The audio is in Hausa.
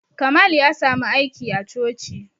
Kamal ya samu aiki a coci